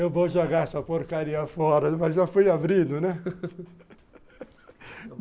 Eu vou jogar essa porcaria fora, mas já foi abrido, né?